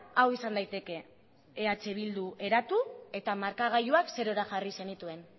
hau izan daiteke eh bildu eratu eta markagailuak zerora jarri zenituen